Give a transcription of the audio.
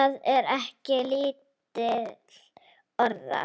Það er ekki lítil orða!